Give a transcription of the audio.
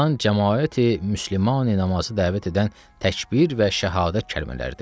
Azan Camaati Müsəlmani namazı dəvət edən Təkbir və Şəhadət kəlmələridir.